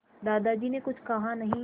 दादाजी ने कुछ कहा नहीं